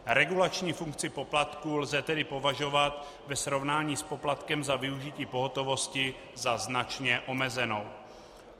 Regulační funkci poplatků lze tedy považovat ve srovnání s poplatkem za využití pohotovosti za značně omezenou.